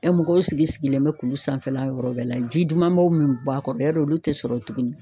mɔgɔw sigi sigilen bɛ kulu sanfɛla yɔrɔ bɛɛ la, ji dumanbaw min b'a kɔrɔ yarɔ olu tɛ sɔrɔ tuguni